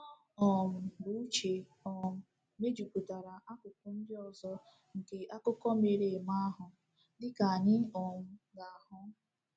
Ọ um bụ Uche um mejupụtara akụkụ ndị ọzọ nke akụkọ mere eme ahụ, dị ka anyị um ga-ahụ.